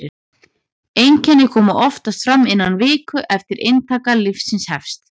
einkenni koma oftast fram innan viku eftir að inntaka lyfsins hefst